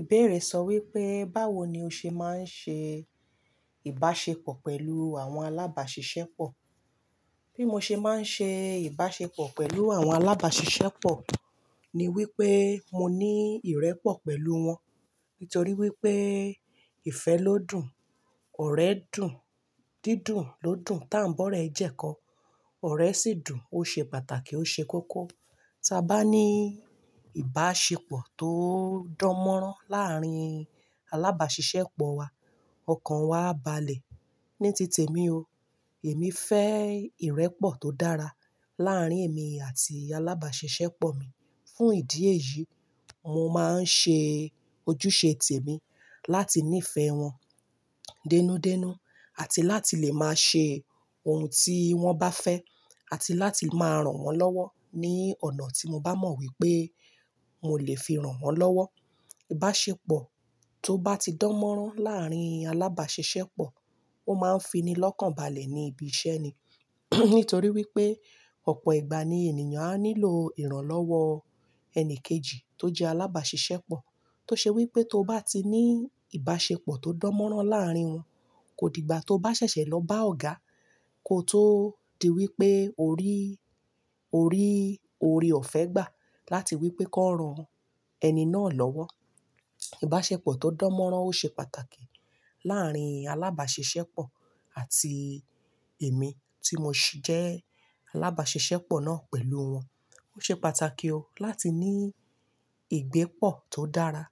Ìbéèrè sọ wípé, báwo ni o ṣe máa ń ṣe ìbáṣepọ̀ pẹ̀lú àwọn alábàáṣiṣẹ́pọ̀? Bí mo ṣe máa ń ṣe ìbáṣepọ̀ pẹ̀lú àwọn alábàáṣiṣẹ́pọ̀, ni wípé mo ní ìrẹ́pọ̀ pẹ̀lú wọn. Nítorí wípé, ìfẹ́ ló dùn, ọ̀rẹ́ dùn, dídùn ló dùn, tá ń bọ́rọ́ ẹ̀ jẹ́kọ. Ọ̀rẹ́ sì dùn, ó ṣe pàtàkì, ó ṣe kókó. Tí a bá ní ìbáṣepọ̀ tó dánmọ́rán láàárín alábàáṣiṣẹ́pọ̀ wa, ọkàn wa á balẹ̀. Ní tìtẹ̀ mi o, èmi fẹ́ ìrẹ́pọ̀ tó dára láárín èmi àti alábàáṣiṣẹ́pọ̀ mi. Fún ìdí èyí, mo máa ń ṣe ojúṣe tèmí láti nífẹ̀ẹ́ wọn dénúdénú, àti láti lè máa ṣe ohun tí wọ́n bá fẹ́, àti láti máa ràn wọ́n lọ́wọ́ ní ọ̀nà tí mo bá mọ̀ wípé mo lè fi ràn wọ́n lọ́wọ́. Ìbáṣepọ̀ tó bá ti dánmọ́rán láàárín alábàáṣiṣẹ́pọ̀, ó máa ń fini lọ́kàn balẹ̀ ní ibi iṣẹ́ ni. Nítorí wípé, ọ̀pọ̀ ìgbà ni ènìyàn á nílò ìrànlọ́wọ́ ẹni kejì tó jẹ́ alábàáṣiṣẹ́pọ̀. Tó ṣe wípé tó bá ti ní ìbáṣepọ̀ tó dánmọ́rán láàárín wọn, kò dìgbà tí ó bá ṣẹ̀ṣẹ̀ lọ bá ọ̀gá, kó tó di wípé ó rí, ó rí ọ̀fẹ́ gbà láti wípé kó ran ẹni náà lọ́wọ́. Ìbáṣepọ̀ tó dánmọ́rán ó ṣe pàtàkì láàárín alábàáṣiṣẹ́pọ̀ àti èmi tí mo jẹ́ alábàáṣiṣẹ́pọ̀ náà pẹ̀lú wọn. Ó ṣe pàtàkì o láti ní ìgbépọ̀ tó dára,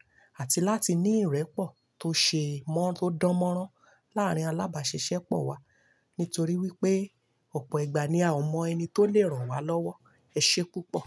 àti láti ní ìrẹ́pọ̀ tó ṣe mọ́, tó dánmọ́rán láàárín alábàáṣiṣẹ́pọ̀ wa. Nítorí wípé, ọ̀pọ̀ ìgbà ni a ò mọ ẹni tó lè ràn wa lọ́wọ́. Ẹ ṣe púpọ̀.